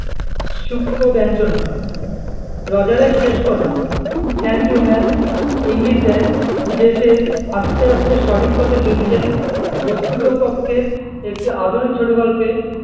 সুক্ষ ব্যাঞ্জনা রোজারের শেষ কথা thank you ma'am ইঙ্গিত দেয় যে সে আস্তে আস্তে সঠিক পথে ফিরছে বস্তুতো কক্ষে একটি আধুনিক ছোট গল্পে